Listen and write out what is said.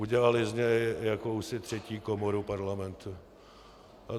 Udělala z něj jakousi třetí komoru Parlamentu.